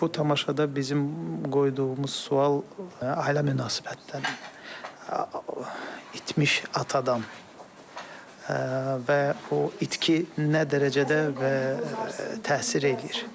Bu tamaşada bizim qoyduğumuz sual ailə münasibətləri itmiş atadan və o itki nə dərəcədə və təsir eləyir.